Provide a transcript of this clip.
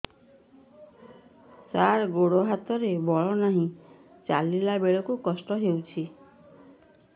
ସାର ଗୋଡୋ ହାତରେ ବଳ ନାହିଁ ଚାଲିଲା ବେଳକୁ କଷ୍ଟ ହେଉଛି